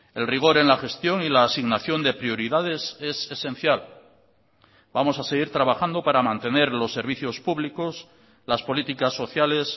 el rigor en la gestión y la asignación de prioridades es esencial vamos a seguir trabajando para mantener los servicios públicos las políticas sociales